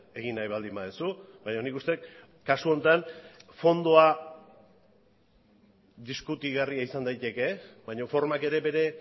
egin nahi baldin baduzu baina nik uste dut kasu honetan fondoan diskutigarria izan daiteke baina formak ere bere